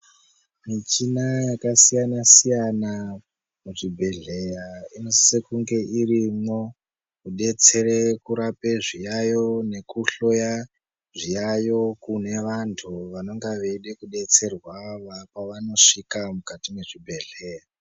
Michina yaka siyana siyana mu zvibhedhleya ino sisa kunge irimwo ku detsere kurape zviyayo neku hloya zviyayo kune vantu vanenga veide ku detserwa pavano svika mukati mwe zvibhedhleya.